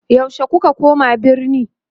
yaushe kuka koma birni?